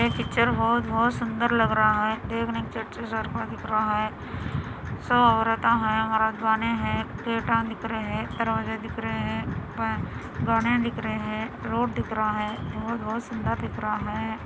Picture बहुत - बहुत सुन्दर लग रहा हैं देख ने चर्च को दिख रहा हैं सो औरता हैं रजवाने हैं मित्र हैं दरवाजे दिख रहे हैं गाने दिख रहा हैं रोड दिख रहा हैं बहुत बहुत सुन्दर दिख रहा हैं।